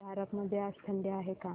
झारप मध्ये आज थंडी आहे का